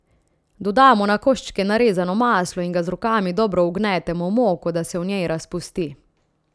Dodamo na koščke narezano maslo in ga z rokami dobro vgnetemo v moko, da se v njej razpusti.